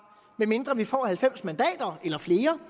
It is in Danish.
medmindre vi får halvfems mandater eller flere